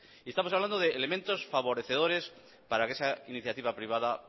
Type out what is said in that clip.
y estamos hablando de elementos favorecedores para que esa iniciativa privada